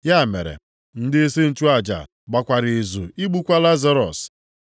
Ya mere, ndịisi nchụaja gbakwara izu igbukwa Lazarọs.